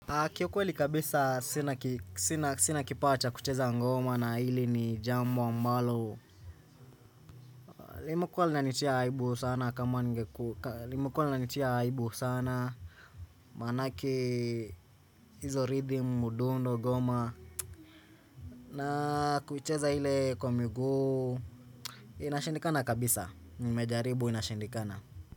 Kiuweli kabisa sina ki sina sina kipawa cha kucheza ngoma na hili ni jambo ambalo limekuwa linanitia aibu sana kama ningeku limekuwa linanitia aibu sana manake hizo rhythm udundo goma na kucheza ile kwa miguu Inashindikana kabisa nimejaribu inashindikana.